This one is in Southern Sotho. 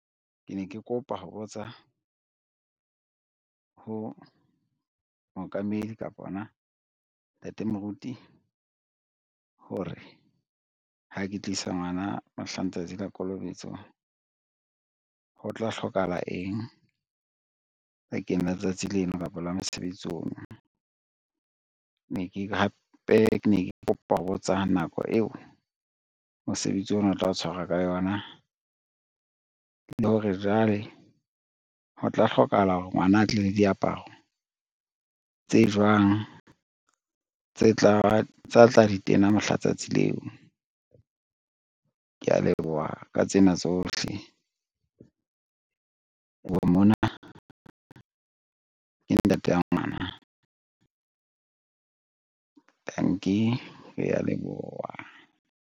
Ke ne ke kopa ho botsa ho mookamedi kapa hona ntate moruti hore, ha ke tlisa ngwana mohla letsatsi la kolobetso ho tla hlokahala eng bakeng la tsatsi leno kapa la mosebetsi ono. Hape ke ne ke kopa ho botsa nako eo mosebetsi ona o tla o tshwarwa ka yona, le hore jwale ho tla hlokahala hore ngwana a tle le diaparo tse jwang tsa tla di tena mohla letsatsi leo. Ke a leboha ka tsena tsohle, a buang mona, ke ntata ngwana. Tanki, ke a leboha